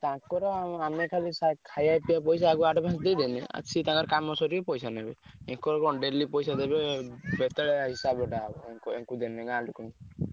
ତା~ ~ଙ୍କର ଆମେ ଖାଲି ଖାଇଆ ପିଇଆ ପଇସା ଆମେ ଖାଲି advance ସିଏ ତାଙ୍କର ଖାଲି କାମ ସାରିବେ ପଇସା ନେବେ ୟାଙ୍କର କଣ daily ଗାଁ ଲୋକ ଙ୍କୁ।